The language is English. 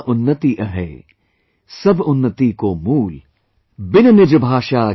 "The progress of one's language, is the source of one's overall progress